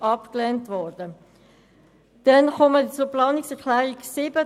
Ich komme zur Planungserklärung 7.